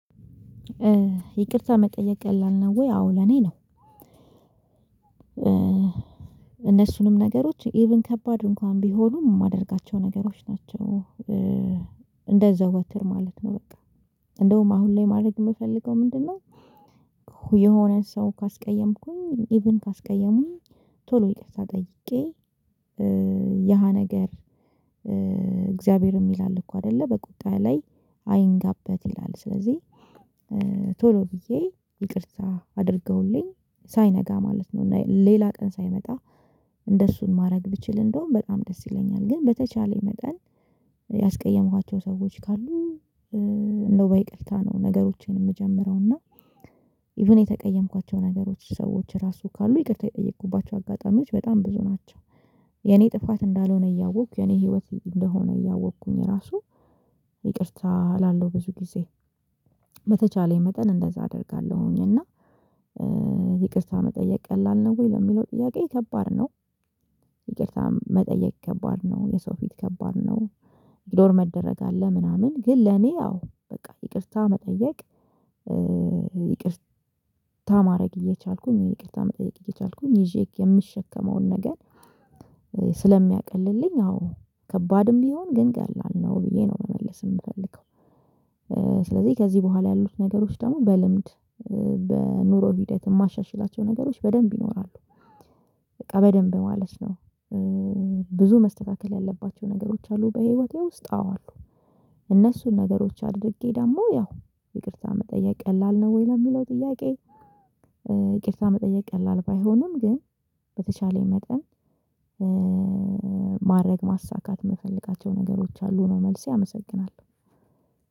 ይቅርታ መጠየቅ ቀላል ነው ወይ? አዎ ለኔ ነው እነሱንም ነገሮች ኢቭን ከባድ እንኳን ቢሆኑ የማደርጋቸው ነገሮች ናቸው፤ እንደዛው ወትር ማለት ነው በቃ እንደውም አሁን ላይ ማድረግ የምፈልገው ምንድነው የሆነ ሰው ካስቀየምኩኝ ኢቭን ካስቀየሙኝ ቶሎ ይቅርታ ጠይቄ ያሃ ነገር እግዚአብሔርም ይላል እኮ አይደለ በቁጣ ላይ አይንጋበት ይላል ስለዚህ ቶሎ ብዬ ይቅርታ አድርገውልኝ ሳይነጋ ማለት ነው እና ሌላ ቀን ሳይመጣ እንደሱን ማድረግ ብችል እንደውም በጣም ደስ ይለኛል ግን በተቻለኝ መጠን ያስቀየሟቸው ሰዎች ካሉ እንደው በይቅርታ ነው ነገሮችን የምጀምረው እና ኢቭን የተቀየምኳቸው ነገሮች ሰዎች ራሱ ካሉ ይቅርታ የጠየኩባቸው አጋጣሚዎች በጣም ብዙ ናቸው፤ የኔ ጥፋት እንዳልሆነ እያወቅኩ የኔ ህይወት እንደሆነ እያወቅኩኝ ራሱ ይቅርታ እላለሁ ብዙ ጊዜ በተቻለኝ መጠን እንደዛ አደርጋለሁኝ እና ይቅርታ መጠየቅ ቀላል ነው ወይ ለሚለው ጥያቄ ከባድ ነው ይቅርታ መጠየቅ ከባድ ነው የሰው ፊት ከባድ ነው ኢግኖር መደረግ አለ ምናምን ግን ለኔ ያው በቃ ይቅርታ መጠየቅ ይቅርታ ማድረግ እየቻልኩኝ ይቅርታ መጠየቅ እየቻልኩኝ ይዤ የምሸከመውን ነገር ስለሚያቅልልኝ አዎ ከባድም ቢሆን ግን ቀላል ነው ብዬ ነው መመለስ የምፈልገው ስለዚህ ከዚህ በኋላ ያሉት ነገሮች ደግሞ በልምድ በኑሮ ሂደት የማሻሽላቸው ነገሮች በደንብ ይኖራሉ በቃ በደንብ ማለት ነው ብዙ መስተካከል ያለባቸው ነገሮች አሉ በህይወቴ ውስጥ አዎ አሉ እነሱን ነገሮች አድርጌ ደግሞ ያው ይቅርታ መጠየቅ ቀላል ነው ወይ ለሚለው ጥያቄ ይቅርታ መጠየቅ ቀላል ባይሆንም ግን በተቻለኝ መጠን ማድረግ ማሳካት የምፈልጋቸው ነገሮች አሉ ነው መልሴ አመሰግናለሁ።